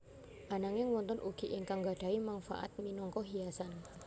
Ananging wonten ugi ingkang nggadhahi mangfaat minangka hiasan